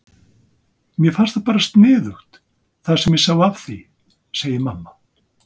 Mér fannst það bara sniðugt það sem ég sá af því, segir mamma.